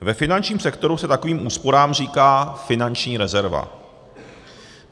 Ve finančním sektoru se takovým úsporám říká finanční rezerva.